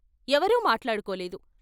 ఎవరూ మాటాడుకోలేదు.